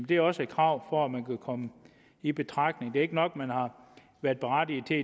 det er også et krav for at man kan komme i betragtning det er ikke nok at man har været berettiget til